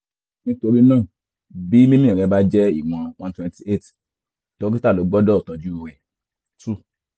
nítorí náà bí mímí rẹ̀ bá jẹ́ ìwọ̀n one twenty eight dókítà ló gbọ́dọ̀ tọ́jú rẹ̀ two